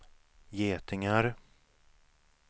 getingar